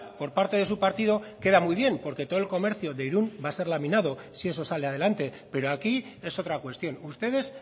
por parte de su partido queda muy bien porque todo el comercio de irún va a ser laminado si eso sale adelante pero aquí es otra cuestión ustedes